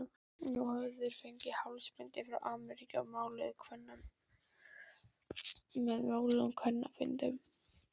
Nú höfðu þeir fengið hálsbindi frá Ameríku með máluðum kvenmannsmyndum.